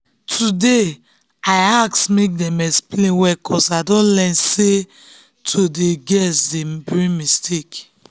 today i ask make dem explain well ‘cause i don learn say to dey guess dey bring mistake.